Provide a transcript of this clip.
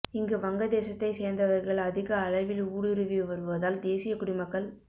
இங்கு வங்கதேசத்தை சேர்ந்தவர்கள் அதிக அளவில் ஊடுருவி வருவதால் தேசிய குடிமக்கள்